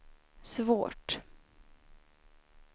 svårt